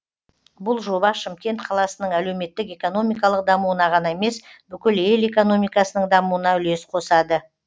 бұл жоба шымкент қаласының әлеуметтік экономикалық дамуына ғана емес бүкіл ел экономикасының дамуына үлес қосады